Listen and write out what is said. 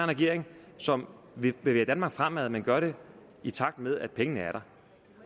regering som vil bevæge danmark fremad men gør det i takt med at pengene er der